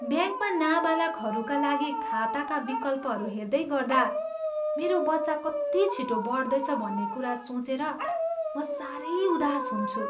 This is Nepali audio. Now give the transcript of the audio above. ब्याङ्कमा नाबालखहरूका लागि खाताका विकल्पहरू हेर्दैगर्दा मेरो बच्चा कति छिटो बढ्दैछ भन्ने कुरा सोचेर म सारै उदास हुन्छु।